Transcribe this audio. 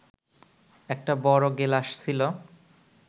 একটা বড় গেলাস ছিল